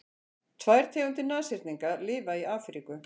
tvær tegundir nashyrninga lifa í afríku